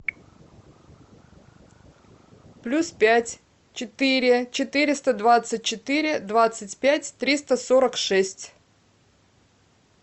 плюс пять четыре четыреста двадцать четыре двадцать пять триста сорок шесть